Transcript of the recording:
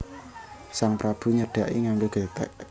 Sang Prabu nyedhaki nganggo gethek